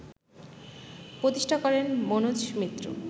প্রতিষ্ঠা করেন মনোজ মিত্র